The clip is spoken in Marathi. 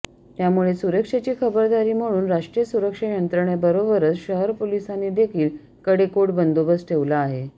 त्यामुळे सुरक्षेची खबरदारी म्हणून राष्ट्रीय सुरक्षा यंत्रणेबरोबरच शहर पोलिसांनीदेखील कडेकोट बंदोबस्त ठेवला आहे